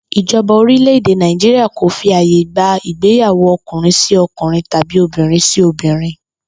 Ìjo̩ba orílè̩-èdè Nàìjíríà kò fi àyè gba ìgbéyàwó o̩kùnrin-sí-o̩kùnrin tàbí obìnrin-sí-obìnrin